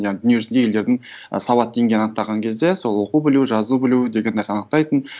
иә дүниежүзінде елдердің сауат деңгейін анықтаған кезде сол оқу білу жазу білу деген нәрсе айнықтайтын